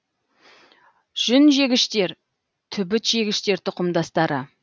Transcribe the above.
жүнжегіштер түбітжегіштер тұқымдастары